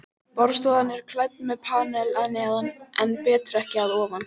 Borðstofan er klædd með panel að neðan en betrekki að ofan.